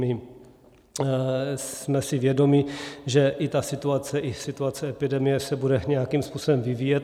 My jsme si vědomi, že i ta situace i situace epidemie se bude nějakým způsobem vyvíjet.